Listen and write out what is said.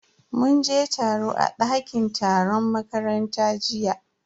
Mun je taro a dakin taron makaranta jiya.